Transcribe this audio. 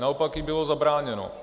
Naopak jí bylo zabráněno.